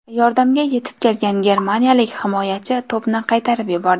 Yordamga yetib kelgan germaniyalik himoyachi to‘pni qaytarib yubordi.